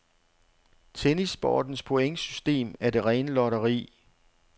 Tennissportens pointsystem er det rene lotteri.